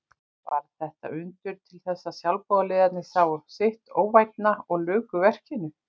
Varð þetta undur til þess að sjálfboðaliðarnir sáu sitt óvænna og luku verkinu.